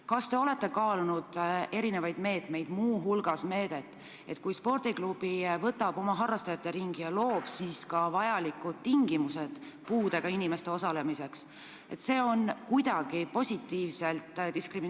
Kas te olete kaalunud mingeid uusi meetmeid, näiteks meedet, et kui spordiklubi võtab oma harrastajate ringi puudega inimesi ja loob ka vajalikud tingimused nende sportimiseks, siis see on kuidagi eriliselt toetatud?